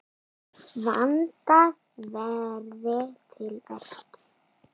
Vandað verði til verka.